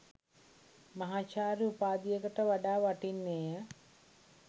මහාචාර්ය උපාධියකට වඩා වටින්නේය.